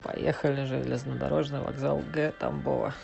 поехали железнодорожный вокзал г тамбова